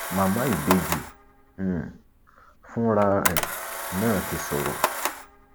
màmá ìbejì um fúnra ẹ náà ti sọrọ